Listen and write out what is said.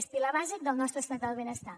és pilar bàsic del nostre estat del benestar